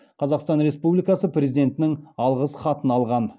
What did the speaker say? қазақстан республикасы президентінің алғыс хатын алған